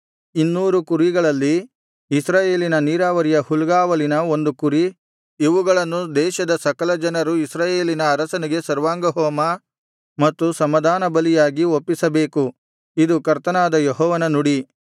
ಇನ್ನೂರು ಕುರಿಗಳಲ್ಲಿ ಇಸ್ರಾಯೇಲಿನ ನೀರಾವರಿಯ ಹುಲ್ಗಾವಲಿನ ಒಂದು ಕುರಿ ಇವುಗಳನ್ನು ದೇಶದ ಸಕಲ ಜನರು ಇಸ್ರಾಯೇಲಿನ ಅರಸನಿಗೆ ಸರ್ವಾಂಗಹೋಮ ಮತ್ತು ಸಮಾಧಾನಬಲಿಯಾಗಿ ಒಪ್ಪಿಸಬೇಕು ಇದು ಕರ್ತನಾದ ಯೆಹೋವನ ನುಡಿ